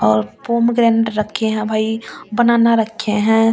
और पोमग्रेनेट रखे हैं भाई बनाना रखे हैं और।